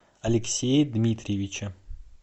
алексее дмитриевиче